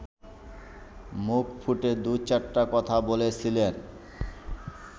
মুখ ফুটে দু-চারটা কথা বলেছিলেন